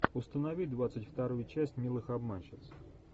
установи двадцать вторую часть милых обманщиц